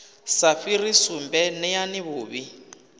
sa fhiri sumbe neani vhuvhi